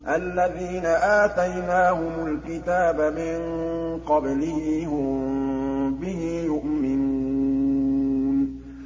الَّذِينَ آتَيْنَاهُمُ الْكِتَابَ مِن قَبْلِهِ هُم بِهِ يُؤْمِنُونَ